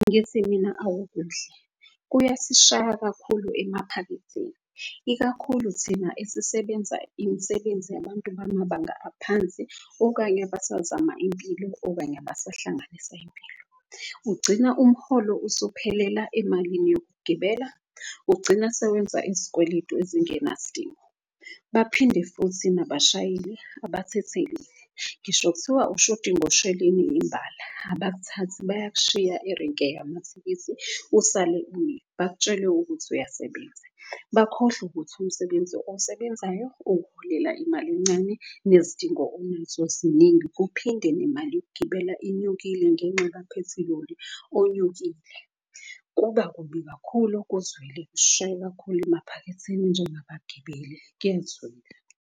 Ngithi mina akukuhle kuyasishaya kakhulu emaphaketheni, ikakhulu thina esisebenza imisebenzi yabantu bamabanga aphansi. Okanye abasazama impilo, okanye abasahlanganisa impilo. Ugcina umholo usuphelela emalini yokugibela, ugcina sewenza izikweletu ezingenasdingo. Baphinde futhi nabashayeli abathatheli ngisho kuthiwa ukushodi ngosheleni imbala abakuthathi. Bayashiya erenke usale umile bakutshele ukuthi uyasebenza. Bakhohlwe ukuthi umsebenzi owusebenzayo ukuholela imali encane nezidingo onazo ziningi. Kuphinde nemali yokugibela inyukile ngenxa kaphethiloli onyukile. Kuba kubi kakhulu kuzwele kushaye kakhulu emaphaketheni njengabagibeli kuyezwela.